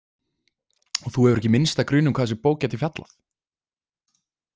Og þú hefur ekki minnsta grun um hvað þessi bók gæti fjallað?